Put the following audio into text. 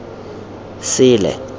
sele